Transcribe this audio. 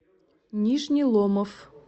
нижний ломов